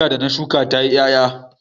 Wata gwanda da na shuka ya ti ƴaƴa.